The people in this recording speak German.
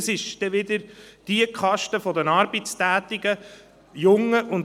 Das ist dann wieder die Kaste der arbeitstätigen Jungen.